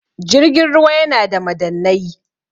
jirgin ruwa yana da madannai